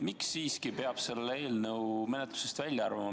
Miks siiski peab selle eelnõu menetlusest välja arvama?